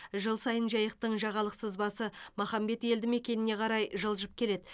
жыл сайын жайықтың жағалық сызбасы махамбет елді мекеніне қарай жылжып келеді